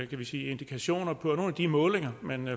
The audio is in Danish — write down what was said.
vi sige indikationer på at nogle af de målinger man